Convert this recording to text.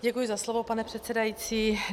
Děkuji za slovo, pane předsedající.